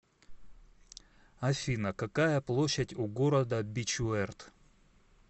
афина какая площадь у города бичуэрт